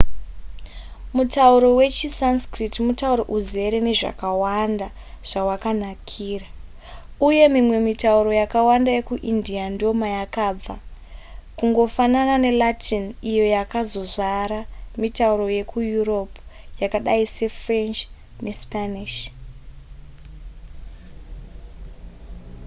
mutauro wechisanskrit mutauro uzere nezvakawanda zvawakanakira uye mimwe mitauro yakawanda yekuindia ndomayakabva kungofanana nelatin iyo yakazozvara mitauro yekueurope yakadai sefrench nespanish